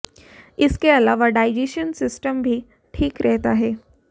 इसके अलावा digestion system भी ठीक रहता है